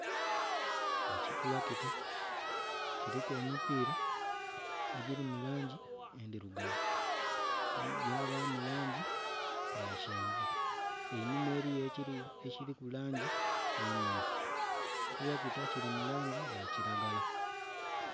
Ekitulakita kiliku emipiila egili mu langi endhirugavu, yabamu langi ya kyenvu, einhuma eriyo ekiliyo ekilimu langi emyufu. Ekitulakita kili mu langi ya kilagala.